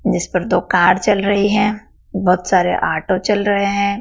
इस पर तो कार चल रही है। बहोत सारे ऑटो चल रहे हैं।